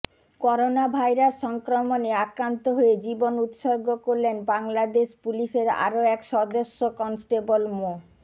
corona virus সংক্রমণে আক্রান্ত হয়ে জীবন উৎসর্গ করলেন বাংলাদেশ পুলিশের আরও এক সদস্য কনস্টেবল মো